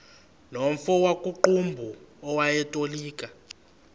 nomfo wakuqumbu owayetolika